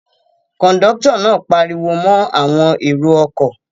Kọ̀ńdọ́tọ̀ náà pariwo mọ́ àwọn èrò-ọkọ̀?